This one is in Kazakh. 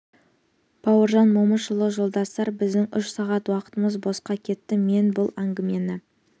бауыржан момышұлы жолдастар біздің үш сағат уақытымыз босқа кетті мен бұл әңгімені